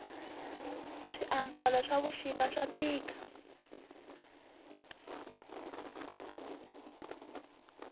swi ambalo swavushika swatika